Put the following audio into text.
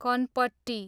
कनपट्टी